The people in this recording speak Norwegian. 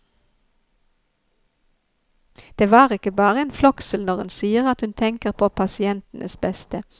Det er ikke bare en floskel når hun sier at hun tenker på pasientenes beste.